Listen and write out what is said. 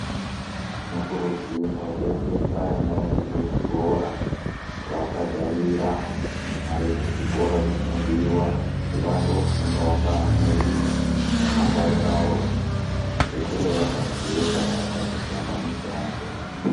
Tinokuridzirwawo kuendesa vana vedu kuzvikora kuvabhadharira mari dzechikora dzinodiwa kuti vandofundawo ngevamweni ramangwana ravo rikure rakajeka vasazotame mushando